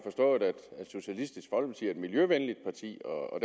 et miljøvenligt parti og